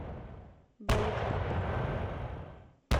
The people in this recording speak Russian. баликпапан